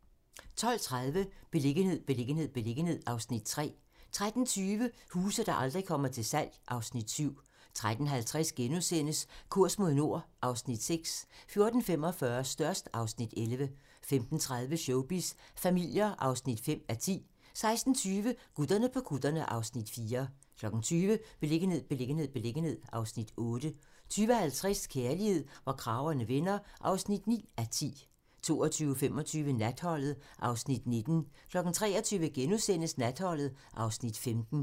12:30: Beliggenhed, beliggenhed, beliggenhed (Afs. 3) 13:20: Huse, der aldrig kommer til salg (Afs. 7) 13:50: Kurs mod nord (Afs. 6)* 14:45: Størst (Afs. 11) 15:30: Showbiz familier (5:10) 16:20: Gutterne på kutterne (Afs. 4) 20:00: Beliggenhed, beliggenhed, beliggenhed (Afs. 8) 20:50: Kærlighed, hvor kragerne vender (9:10) 22:25: Natholdet (Afs. 19) 23:00: Natholdet (Afs. 15)*